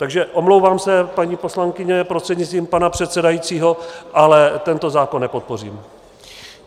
Takže omlouvám se, paní poslankyně prostřednictvím pana předsedajícího, ale tento zákon nepodpořím.